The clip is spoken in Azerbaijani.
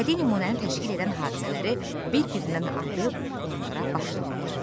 Bədii nümunəni təşkil edən hadisələri bir-birindən ayırıb onlara başlıq ver.